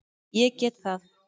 Ég get það.